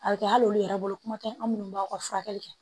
A bɛ kɛ hali olu yɛrɛ bolo kuma tɛ an minnu b'aw ka furakɛli kɛ